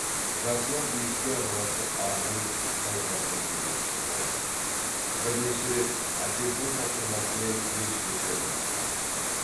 жасынан билікке араласып арғын тайпасының билеушісі болды бірнеше рет әкесінің тапсырмасымен елшіліктерді басқарды